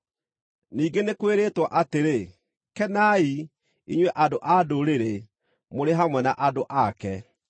Ningĩ nĩ kwĩrĩtwo atĩrĩ: “Kenai, inyuĩ andũ-a-Ndũrĩrĩ, mũrĩ hamwe na andũ ake.”